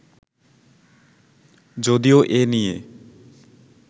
যদিও এ নিয়ে